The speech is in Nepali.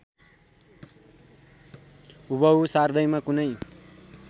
हुबहु सार्दैमा कुनै